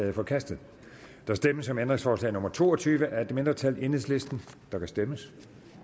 er forkastet der stemmes om ændringsforslag nummer to og tyve af et mindretal der kan stemmes